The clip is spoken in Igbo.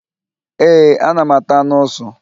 Ee, a na m ata anụ ụsụ